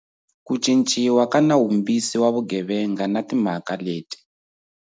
Ku Cinciwa ka Nawumbisi wa Vugevenga na Timhaka leti.